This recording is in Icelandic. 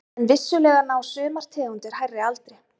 En vissulega ná sumar tegundir hærri aldri.